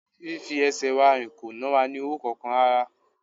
Fí fi ẹsẹ̀ wa rìn kò na wa ní owó kankan rárá